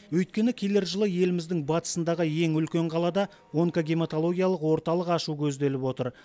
өйткені келер жылы еліміздің батысындағы ең үлкен қалада онкогемотологиялық орталық ашу көзделіп отыр